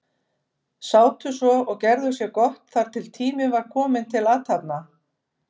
Sátu svo og gerðu sér gott þar til tími var kominn til athafna.